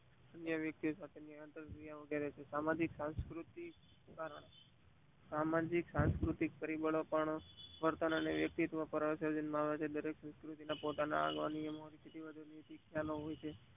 અન્ય વક્તિઓ જોડે નિયન્ત્રતા ઉમેરે છે. સામાજિક સાંસ્કુતિક પરિબળો પણ વતન અને વક્તિ પરિવતૅન સર્જે છે પોતાના આગવા નિયમો નૈતિકતા હોય છે.